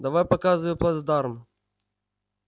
давай показывай плацдарм